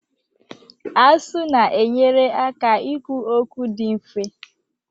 Asụ na-enyere aka ikwu okwu dị mfe